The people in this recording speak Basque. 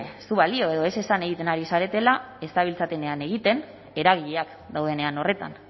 ez du balio edo ez esan egiten ari zaretela ez zabiltzatenean egiten eragileak daudenean horretan